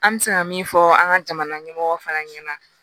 An bɛ se ka min fɔ an ka jamana ɲɛmɔgɔ fana ɲɛna